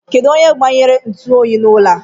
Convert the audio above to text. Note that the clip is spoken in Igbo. Kedụ onye gbanyere ntuoyi n'ụlọ a?